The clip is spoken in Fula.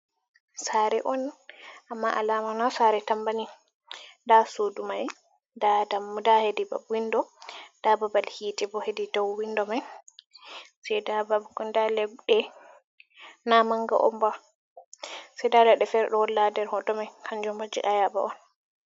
Sare on amma alamana sare tambani da sudumai, da hedi babal windo da babal hite bo hedi dau windo mai na manga omba da ladde fere do wolla der hotomai kanjum baje ayaba on.